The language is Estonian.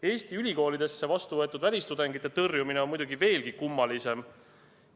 Eesti ülikoolidesse vastu võetud välistudengite tõrjumine on muidugi veelgi kummalisem.